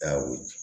Awa